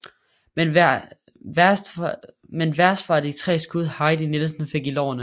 Men værst var de tre skud Heidi Nielsen fik i lårene